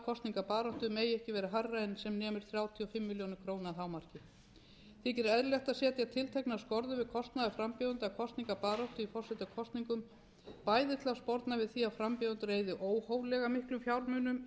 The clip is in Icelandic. kosningabaráttu megi ekki vera hærra en sem nemur þrjátíu og fimm milljónir króna að hámarki þykir eðlilegt að setja tilteknar skorður við kostnað frambjóðenda af kosningabaráttu í forsetakosningum bæði til að sporna við því að frambjóðendur eyði óhóflega miklum fjármunum í